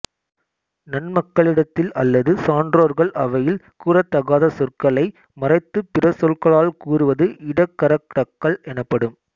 நன்மக்களிடத்தில் அல்லது சான்றோர்கள் அவையில் கூறத்தகாத சொற்களை மறைத்துப் பிற சொற்களால் கூறுவது இடக்கரடக்கல் எனப்படும்